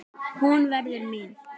Hún verður mín.